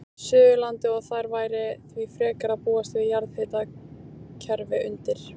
Suðurlandi, og þar væri því frekar að búast við jarðhitakerfi undir.